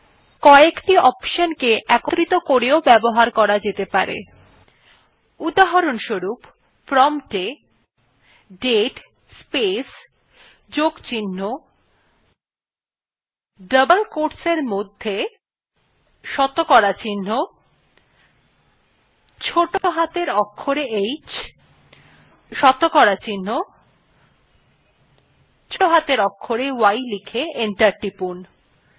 উদাহরনস্বরুপ promptwe date space যোগ চিহ্ন double quotes we শতকরা চিহ্ন ছোটো হাতের অক্ষরে h শতকরা চিহ্ন ছোটো হাতের অক্ষরে y লিখে enter টিপুন